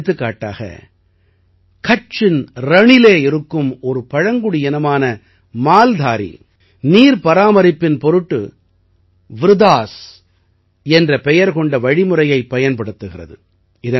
எடுத்துக்காட்டாக கட்சின் ரணிலே இருக்கும் ஒரு பழங்குடியினமான மால்தாரீ நீர் பராமரிப்பின் பொருட்டு வ்ருதாஸ் என்ற பெயர் கொண்ட வழிமுறையைப் பயன்படுத்துகிறது